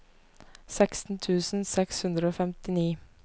seksten tusen seks hundre og femtini